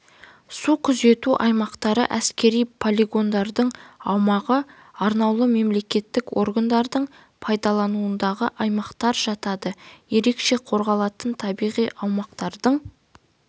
су күзету аймақтары әскери полигондардың аумағы арнаулы мемлекеттік органдардың пайдалануындағы аумақтар жатады ерекше қорғалатын табиғи аумақтардың